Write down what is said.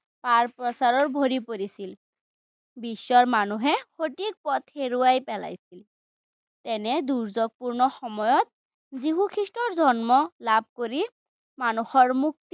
-প্ৰচাৰ ভৰি পৰিছিল। বিশ্বৰ মানুহে সঠিক পথ হেৰুৱাই পেলাইছিল। এনে দুৰ্যোগপূৰ্ণ সময়ত যীশু খ্ৰীষ্টৰ জন্ম লাভ কৰি মানুহৰ মুক্তিৰ